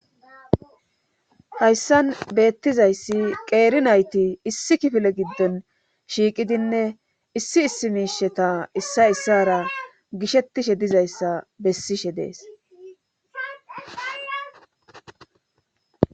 hayssan beettizayssi qeeri nayti issi kifile giddon shiiqidinne issi issi miisheta issa issara gishettishe dizayssa bessishe dees